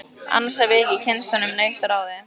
Annars hef ég ekki kynnst honum neitt að ráði.